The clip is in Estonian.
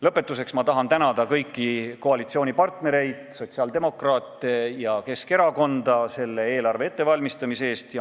Lõpetuseks tahan tänada kõiki koalitsioonipartnereid – sotsiaaldemokraate ja Keskerakonda – selle eelarve ettevalmistamise eest.